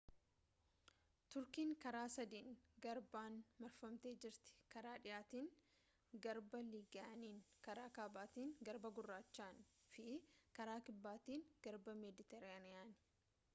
turkiin karaa sadiin garbaan marfamtee jirti: karaa dhihaatiin garba iigiyaaniin karaa kaabaatin garba gurraachaan fi karaa kibbaatiin garbaa meediteraaniyaanii